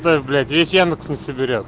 эв блять если яндекс не соберёт